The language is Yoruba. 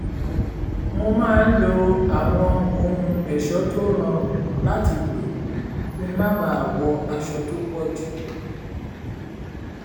mo máa ń lo àwọn ohun ẹ̀ṣọ́ tó rọrùn láti lò kí n má bàa wọ aṣọ tó pọ̀ jù